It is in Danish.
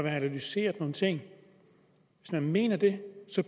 analyseret nogle ting hvis man mener det